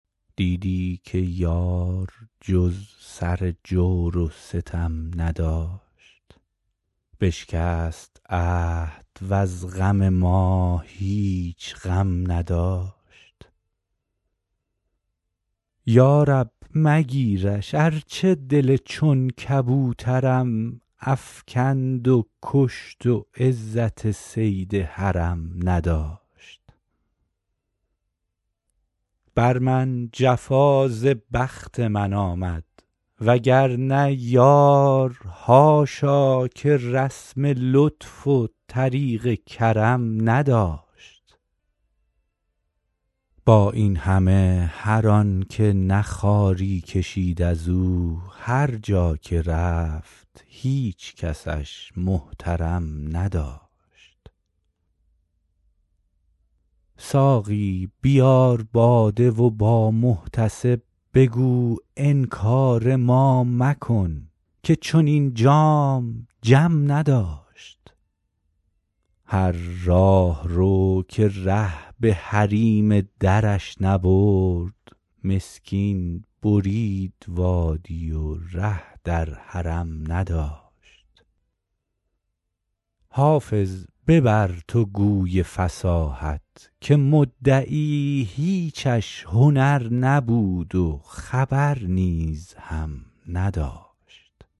دیدی که یار جز سر جور و ستم نداشت بشکست عهد وز غم ما هیچ غم نداشت یا رب مگیرش ارچه دل چون کبوترم افکند و کشت و عزت صید حرم نداشت بر من جفا ز بخت من آمد وگرنه یار حاشا که رسم لطف و طریق کرم نداشت با این همه هر آن که نه خواری کشید از او هر جا که رفت هیچ کسش محترم نداشت ساقی بیار باده و با محتسب بگو انکار ما مکن که چنین جام جم نداشت هر راهرو که ره به حریم درش نبرد مسکین برید وادی و ره در حرم نداشت حافظ ببر تو گوی فصاحت که مدعی هیچش هنر نبود و خبر نیز هم نداشت